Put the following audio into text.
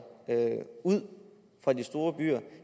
ud fra de store byer